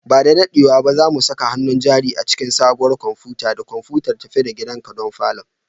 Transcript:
Ba da daɗewa ba, za mu saka hannun jari a cikin sabuwar kwamfuta da kwamfutar tafi-da-gidanka don falon